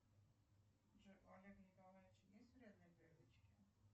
джой у олега николаевича есть вредные привычки